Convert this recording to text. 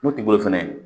Moti bolo fɛnɛ